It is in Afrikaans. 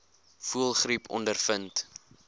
voëlgriep ondervind